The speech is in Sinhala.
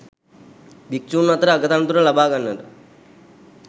භික්‍ෂූන් අතර අග තනතුර ලබා ගන්නට